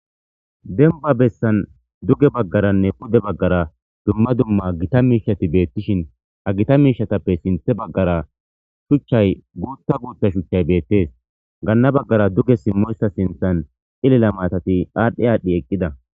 Denba bessan duge baggaranne pude baggara dumma dumma gita miishati beettishin ha gita miishatappe sinthe baggara shuchchay guuta guuta shuchchay beettes gaanna baggara duge simmoyssa sinthan xilela maatati aadhdhe aadhdhi eqqida.